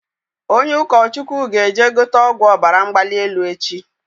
Onye ụkọ Chukwu ga eje gote ọgwụ Ọbara mgbali elu echi